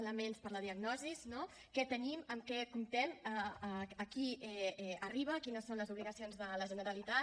elements per a la diagnosi no què tenim amb què comptem a qui arriba quines són les obligacions de la generalitat